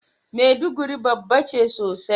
Maiduguri babba ce sosai.